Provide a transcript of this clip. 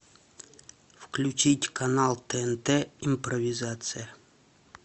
включить канал тнт импровизация